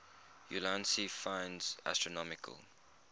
ulansey finds astronomical